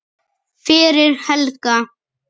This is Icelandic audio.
fyrir Helga.